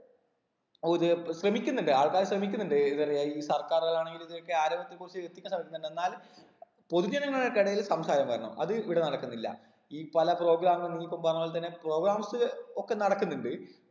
ഒര് പ്പൊ ശ്രമിക്കുന്നുണ്ട് ആൾക്കാര് ശ്രമിക്കുന്നുണ്ട് ഏത് പറയാ ഈ സർക്കാർകളാണെങ്കിലും ഇതിലൊക്കെ ആരോഗ്യത്തെ കുറിച്ച് എത്തിക്കാൻ ശ്രമിക്കുന്നുണ്ട് എന്നാലും പൊതുജനങ്ങൾക്കിടയിൽ സംസാരം വരണം അത് ഇവിടെ നടക്കുന്നില്ല ഈ പല program കൾക്കും നീ ഇപ്പൊ പറഞ്ഞ പോൽ തന്നെ programs ഇല് ഒക്കെ നടക്കുന്നുണ്ട്